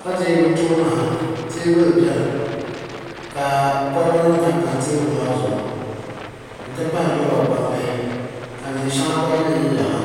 ka lihi bɛ tooni ha teebuli biɛni ka koliba nima tam tam teebuli maa zuɣu n ti pahi loba gbambihi ka niɛnsheŋa gba yili yiliya ha.